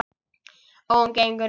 Og hún gengur inn.